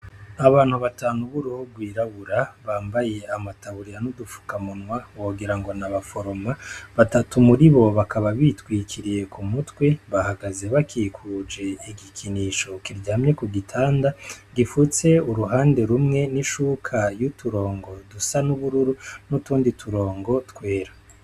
Abantu batanu buruobwirabura bambaye amataburira n'udupfukamunwa wogira ngo na baforoma batatu muri bo bakaba bitwikiriye ku mutwi bahagaze bakikuje igikinisho kiryamye ku gitanda gifutse uruhande rumwe n'ishuka y'uturongo dusa n'ubururu n'utundi ture ongo twera.